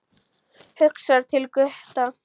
Hugsar til Gutta.